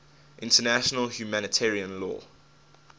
international humanitarian law